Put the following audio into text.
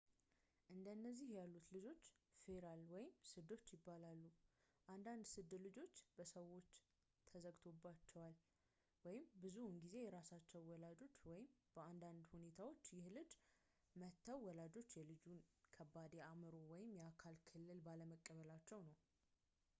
እንደነዚህ ያሉት ልጆች ፌራል ወይም ስዶች ይባላሉ። አንዳንድ ስድ ልጆች በሰዎች ተዘግቶባቸዋል ብዙውን ጊዜ የራሳቸው ወላጆች፤ በአንዳንድ ሁኔታዎች ይህ ልጅ መተው ወላጆቹ የልጁን ከባድ የአእምሮ ወይም የአካል እክል ባለመቀበላቸው ነው